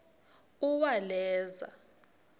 uwaleza